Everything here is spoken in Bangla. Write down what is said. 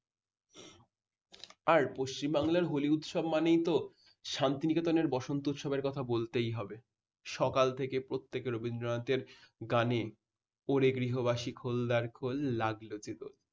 আর পশ্চিম বাংলার হলি উৎসব মানেই তো শান্তিনিকেতনের বসন্ত উৎসবের কথা বলতেই হবে। সকাল থেকে প্রত্যেক রবীন্দ্রনাথের গানে ওরে গৃহবাসী খোল দ্বারখোল লাগলো যে দোল